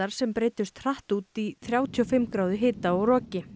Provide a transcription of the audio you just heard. sem breiddust hratt út í þrjátíu og fimm gráðu hita og roki